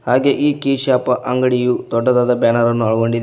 ಹಾಗೆ ಈ key shop ಅಂಗಡಿಯು ದೊಡ್ಡದಾದ ಬ್ಯಾನರ್ ಅನ್ನು ಒಳಗೊಂಡಿ--